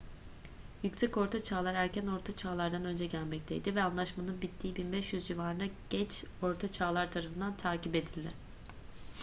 yüksek ortaçağlar erken orta çağlar'dan önce gelmekteydi ve anlaşmanın bittiği 1500 civarında geç orta çağlar tarafından takip edildi